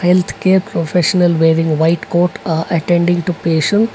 professional wearing white coat a attending to patient.